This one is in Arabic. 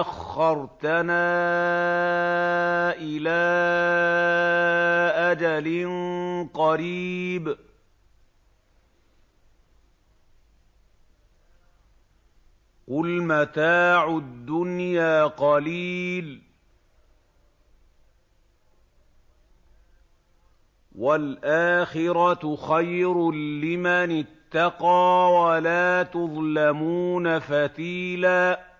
أَخَّرْتَنَا إِلَىٰ أَجَلٍ قَرِيبٍ ۗ قُلْ مَتَاعُ الدُّنْيَا قَلِيلٌ وَالْآخِرَةُ خَيْرٌ لِّمَنِ اتَّقَىٰ وَلَا تُظْلَمُونَ فَتِيلًا